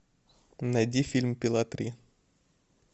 найди фильм пила три